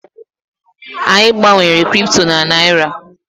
Anyị gbanwere Kripto na Naịra.